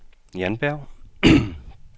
Jan Berg